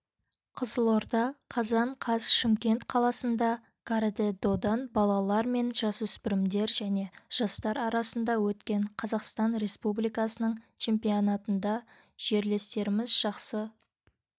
қызылорда қазан қаз шымкент қаласында каратэ-додан балалар мен жасөспірімдер және жастар арасында өткен қазақстан республикасының чемпионатындажерлестеріміз жақсы